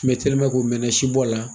u mɛna sibɔ la.